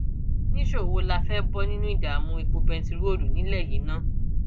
nìṣó wo la fẹẹ bọ nínú ìdààmú epo bẹntiróòlù nílẹ yìí ná